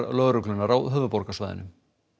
lögreglunnar á höfuðborgarsvæðinu